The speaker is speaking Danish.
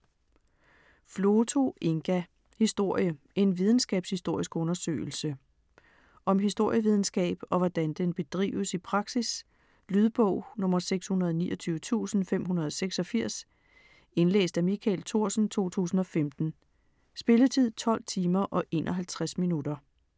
Floto, Inga: Historie: en videnskabshistorisk undersøgelse Om historievidenskab og hvordan den bedrives i praksis. Lydbog 629586 Indlæst af Michael Thorsen, 2015. Spilletid: 12 timer, 51 minutter.